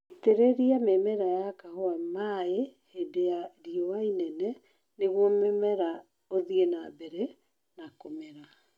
Itĩrĩria mĩmera ya kahũa maĩĩ hĩndĩ ya riũa inene nĩguo mũmera ũthie na mbere na kũmera